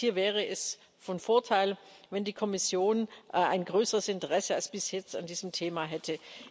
Das heißt, hier wäre es von Vorteil, wenn die Kommission ein größeres Interesse als bisher an diesem Thema hätte.